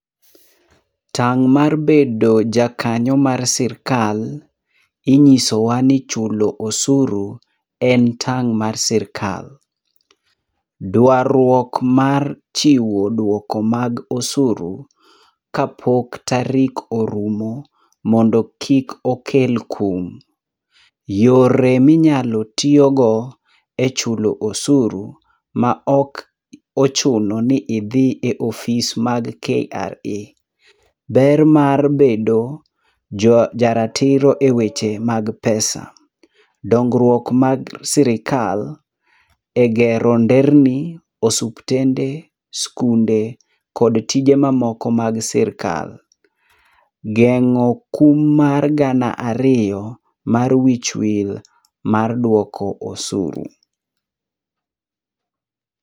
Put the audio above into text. Tang' mar bedo jakanyo mar sirkal, inyisowa ni chulo osuru en tang' mar sirkal. Dwarruok mar chiwo duoko mag osuru, kapok tarik orumo mondo kik okel kum. Yore minyalo tiyogo echulo osuru maok ochuno ni idhi e ofis mag KRA. Ber mar bedo jaratiro eweche mag pesa, dongruok mag sirkal egero nderni, osuptende, sikunde kod tije mamoko mag sirkal. Geng'o kum mar gana ariyo mar wich wil mar duoko osuru.